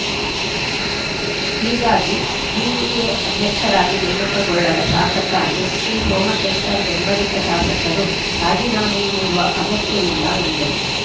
ಹೀಗಾಗಿ ಬಿಡಿಎ ಅಧ್ಯಕ್ಷರಾಗಿ ನೇಮಕಗೊಳ್ಳದ ಶಾಸಕ ಎಸ್‌ಟಿ ಸೋಮಶೇಖರ್‌ ಬೆಂಬಲಿತ ಶಾಸಕರು ರಾಜೀನಾಮೆ ನೀಡುವ ಅಗತ್ಯವಿಲ್ಲ ಎಂದರು